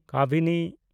ᱠᱟᱵᱤᱱᱤ